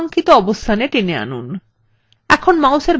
এখনই মাউসের বোতাম ছেড়ে দিন